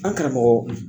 An karamɔgɔ